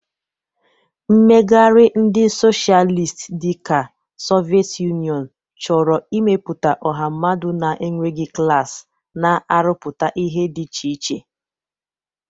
Mmegharị ndị Socialist dị ka Soviet Union chọrọ ịmepụta ọha mmadụ na-enweghị klas, na-arụpụta ihe dị iche iche.